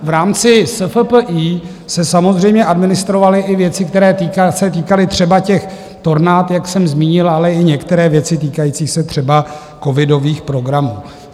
V rámci SFPI se samozřejmě administrovaly i věci, které se týkaly třeba těch tornád, jak jsem zmínil, ale i některé věci týkající se třeba covidových programů.